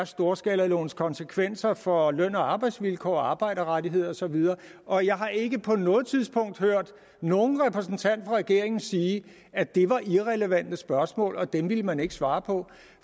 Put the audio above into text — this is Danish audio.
storskalalovens konsekvenser er for løn og arbejdsvilkår og arbejderrettigheder og så videre og jeg har ikke på noget tidspunkt hørt nogen repræsentant fra regeringen sige at det var irrelevante spørgsmål og at dem ville man ikke svare på